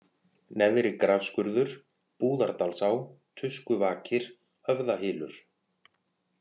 Neðri-Grafskurður, Búðardalsá, Tuskuvakir, Höfðahylur